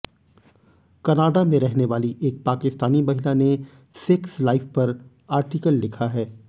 Canada में रहनेवाली एक पाकिस्तानी महिला ने सेक्स लाइफ पर आर्टिकल लिखा है